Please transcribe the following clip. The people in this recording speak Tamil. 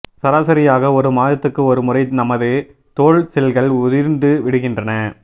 சராசரியாக ஒரு மாதத்துக்கு ஒரு முறை நமது தோல் செல்கள் உதிர்ந்து விடுகின்றன